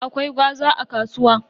Akwai gwaza a kasuwa.